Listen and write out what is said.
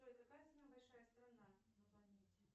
джой какая самая большая страна на планете